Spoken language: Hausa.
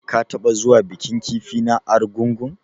Ka taɓa zuwa bikin kifi na argungu.